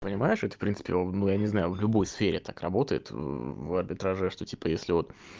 понимаешь это в принципе ну я не знаю ну в любой сфере так работает в арбитраже что типа если вот